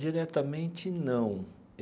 Diretamente, não.